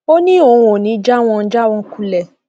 ó ní òun ò ní í já wọn já wọn kulẹ